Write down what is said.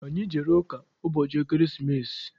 Anyị jere ụka ụbọchị ekeresimesi.